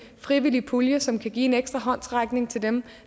frivillig pulje som kan give en ekstra håndsrækning til dem